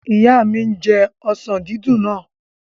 Ìyá mi n jẹ ọsàn dídùn náà